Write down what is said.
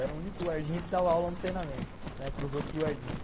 Eu era o único guardinha que dava aula no treinamento, né, para os outros guardinhas.